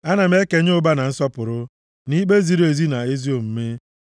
Ana m ekenye ụba na nsọpụrụ, na ikpe ziri ezi na ezi omume.